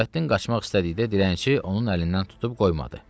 Nurəddin qaçmaq istədikdə dilənçi onun əlindən tutub qoymadı.